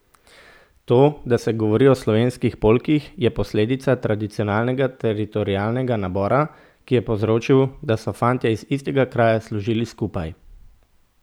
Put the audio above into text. To, da se govori o slovenskih polkih, je posledica tradicionalnega teritorialnega nabora, ki je povzročil, da so fantje iz istega kraja služili skupaj.